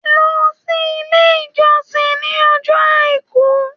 Lọ sí ilé ìjọsìn ní ọjọ́ àìkú!